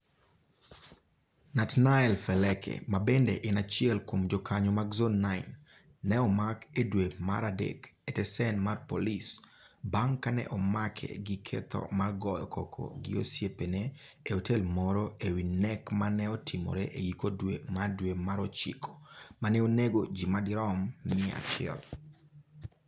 Natnael Feleke, mabende en achiel kuom jokanyo mag Zone9, ne omak e dwe mar adek e tesend mar polis bang' ka ne omake gi ketho mar goyo koko gi osiepene e otel moro e wi nek ma ne otimore e giko dwe mar dwe mar ochiko ma ne onego ji madirom mia achiel.